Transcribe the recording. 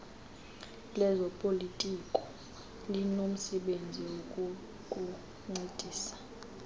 lezopolitiko linomsebenzi wokukuncedisa